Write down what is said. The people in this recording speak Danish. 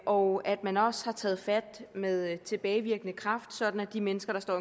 og at man også har taget fat med tilbagevirkende kraft sådan at de mennesker der står